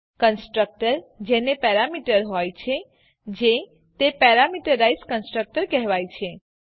constructor જેને parameter હોય જે તે પેરામીટરાઈઝ કન્સ્ટ્રક્ટર કહેવાય છે